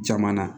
Jamana